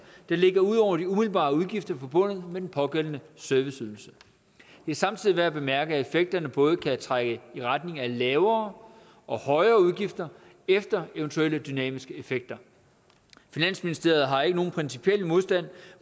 der ligger ud over de umiddelbare udgifter forbundet med den pågældende serviceydelse det er samtidig værd at bemærke at effekterne både kan trække i retning af lavere og højere udgifter efter eventuelle dynamiske effekter finansministeriet har ikke nogen principiel modstand